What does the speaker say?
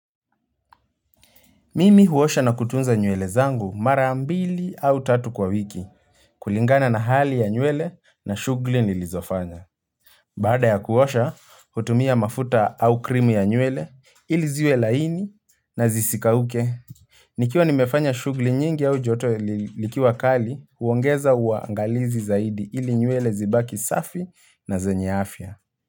Mimi huosha na kutunza nywele zangu marambili au tatu kwa wiki. Kulingana na hali ya nywele na shughuli nilizofanya. Baada ya kuosha, hutumia mafuta au krimu ya nywele ili ziwe laini na zisikauke. Nikiwa nimefanya shughuli nyingi au joto likiwakali, huongeza uangalizi zaidi ili nywele zibaki safi na zenye afya.